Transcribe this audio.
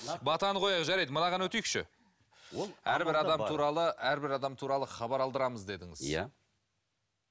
батаны қояйық жарайды мынаған өтейікші әрбір адам туралы әрбір адам туралы хабар алдырамыз дедіңіз иә